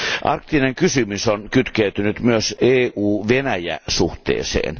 Arktinen kysymys on kytkeytynyt myös EU Venäjä suhteeseen.